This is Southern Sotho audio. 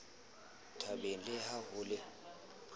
thabeng le ha ho le